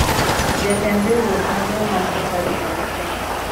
Jatend riwruok Maduong' mar Safaricom Kenya